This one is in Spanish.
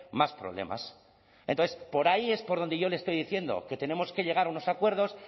más problemas entonces por ahí es por donde yo le estoy diciendo que tenemos que llegar a unos acuerdos